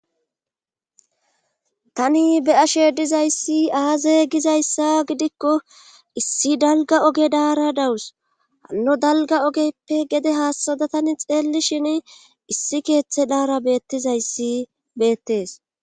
Tani be'ashe dizayssi aaza gizayssa gidikko issi dalga oge daara dawus ano dalga ogeyppe gede haassada tani xeelli shin issi keeththe daara beettizayssi beettees.